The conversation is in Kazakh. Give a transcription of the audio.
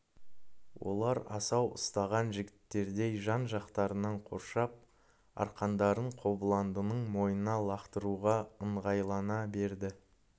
олар асау ұстаған жігіттердей жан-жақтарынан қоршап арқандарын қобыландының мойнына лақтыруға ыңғайлана берді